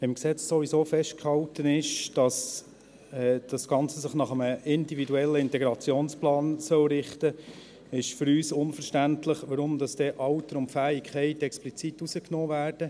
Da im Gesetz ist sowieso festgehalten, dass sich das Ganze nach einem individuellen Integrationsplan richten soll, ist für uns unverständlich, weshalb dann Alter und Fähigkeit explizit rausgenommen werden.